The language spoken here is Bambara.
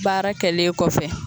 Baara kɛlen kɔfɛ.